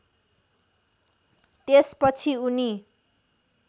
त्यस पछि उनी